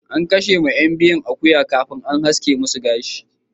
An kashe ma yan biyun akuya kafin an haska masu gashi.